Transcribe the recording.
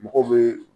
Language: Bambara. Mɔgɔw bɛ